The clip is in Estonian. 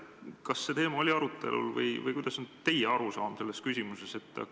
Kas see teema oli arutelul ja kui polnud, siis milline on teie arusaam selles küsimuses?